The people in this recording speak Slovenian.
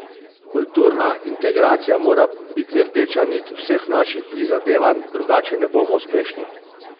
Kulturna integracija mora biti rdeča nit vseh naših prizadevanj, drugače ne bomo uspešni.